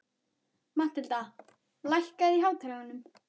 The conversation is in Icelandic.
Mathilda, lækkaðu í hátalaranum.